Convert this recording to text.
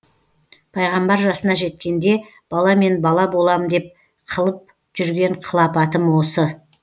пайғамбар жасына жеткенде баламен бала болам деп қылып жүрген қылапатым осы